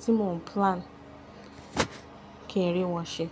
tí mò ń plan kí n rí wọ́n ṣe.